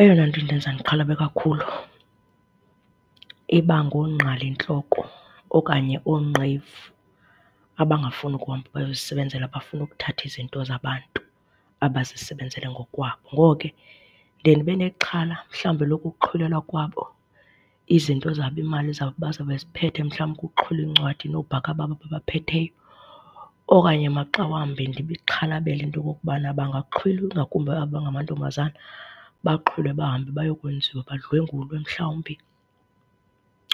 Eyona nto indenza ndixhalaba kakhulu iba ngoongqalintloko okanye oonqevu abangafuni ukuhamba bayozisebenzela, bafuna ukuthatha izinto zabantu abazisebenzele ngokwabo. Ngoko ke, ndiye ndibe nexhala mhlawumbi lokokuxhilelwa kwabo izinto zabo, iimali zabo bazawube beziphethe. Mhlawumbi kuxhilwe iincwadi noobhaka babo ababaphetheyo. Okanye maxa wambi ndibixhalabele into okokubana bangaxhilwa, ingakumbi abo bangamantombazana, baxhilwe bahambe bayokwenziwa, badlengulwe mhlawumbi